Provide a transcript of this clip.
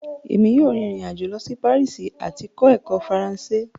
Emi yoo rin irin-ajo lọ si Paris ati kọ ẹkọ Faranse